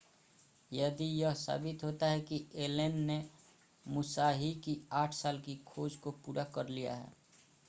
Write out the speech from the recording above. यदि यह साबित होता है कि एलन ने मुसाहि की आठ साल की खोज को पूरा कर लिया है